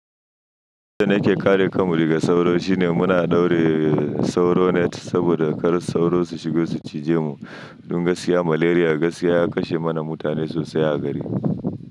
Yadda nake kare kanmu daga sauro shine muna daure sauro net saboda kar sauro su shigo su cije mu. Dun gaskiya malaria gaskiya ya kashe mana mutane sosai a gari.